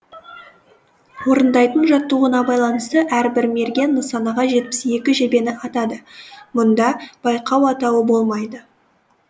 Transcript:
орындайтын жаттығуына байланысты әрбір мерген нысанаға жетпіс екі жебені атады мұнда байқау атауы болмайды